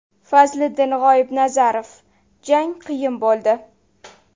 Fazliddin G‘oibnazarov: Jang qiyin bo‘ldi.